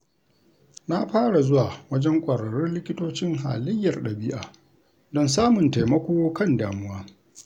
Na fara zuwa wajen kwararrun likitocin halayyar ɗabi’a don samun taimako kan damuwa.